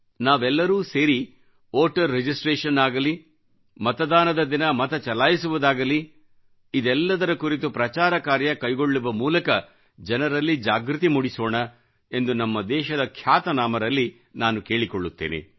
ನಾವೆಲ್ಲರೂ ಸೇರಿ voter registration ಆಗಲಿ ಮತದಾನದ ದಿನ ಮತಚಲಾಯಿಸುವುದಾಗಲಿ ಇದೆಲ್ಲದರ ಕುರಿತು ಪ್ರಚಾರ ಕಾರ್ಯ ಕೈಗೊಳ್ಳುವ ಮೂಲಕ ಜನರಲ್ಲಿ ಜಾಗೃತಿ ಮೂಡಿಸೋಣ ಎಂದು ನಮ್ಮ ದೇಶದ ಖ್ಯಾತನಾಮರಲ್ಲಿ ನಾನು ಕೇಳಿಕೊಳ್ಳುತ್ತೇನೆ